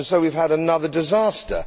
And so we have had another disaster.